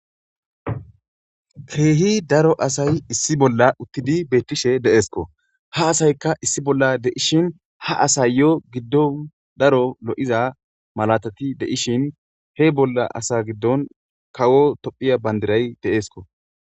keehi daro asay issi bolla uttidi beettishe deeesko ha asaykka issi bolla deishin ha asay yo giddon daro lo7iza malatati deishin he bolla asa giddon kawo tophiya bandiray deeesko